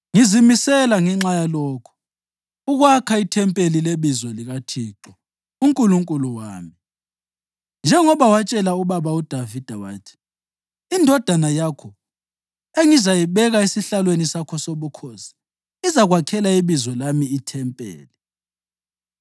Ngizimisele, ngenxa yalokho, ukwakha ithempeli leBizo likaThixo uNkulunkulu wami, njengoba watshela ubaba uDavida wathi, ‘Indodana yakho engizayibeka esihlalweni sakho sobukhosi izakwakhela iBizo lami ithempeli.’